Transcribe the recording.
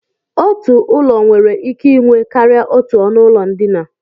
Otu ụlọ nwere ike inwe karịa otú ọnụụlọ ndina